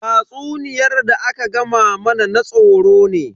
Tatsuniyar da aka gama mana na tsoro ne.